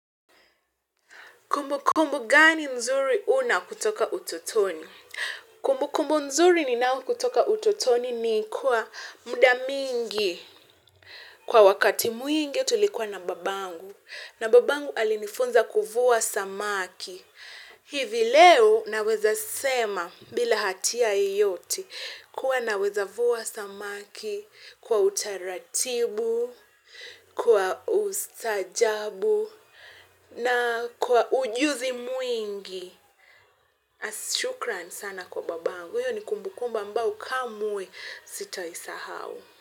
Kumbukumbu gani mzuri una kutoka utotoni? Kumbukumbu nzuri ninayo kutoka utotoni ni kuwa muda mingi. Kwa wakati wingi tulikuwa na babangu na babangu alinifunza kuvua samaki. Hivi leo naweza sema bila hatia yeyote kuwa naweza vua samaki kwa utaratibu, kwa ustaajabu, na kwa ujuzi mwingi shukran sana kwa babangu iyo ni kumbukumba ambayo kamwe sitaisahau.